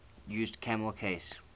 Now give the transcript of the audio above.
used camel case